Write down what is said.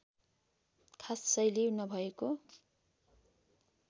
खास शैली नभएको